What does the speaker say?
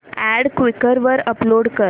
add Quikr वर upload कर